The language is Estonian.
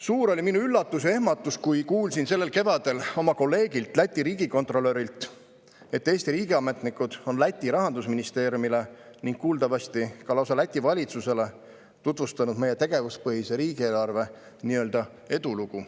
Suur oli minu üllatus ja ehmatus, kui kuulsin sellel kevadel oma kolleegilt, Läti riigikontrolörilt, et Eesti riigiametnikud on Läti rahandusministeeriumile ning kuuldavasti ka lausa Läti valitsusele tutvustanud meie tegevuspõhise riigieelarve nii-öelda edulugu.